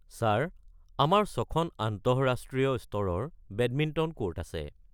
Sir, আমাৰ ছখন আন্তঃৰাষ্ট্ৰীয় স্তৰৰ বেডমিণ্টন ক'ৰ্ট আছে।